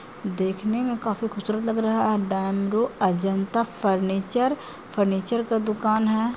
देखने में काफी खुबसूरत लग रहा है अजंता फर्नीचर फर्नीचर का दुकान है।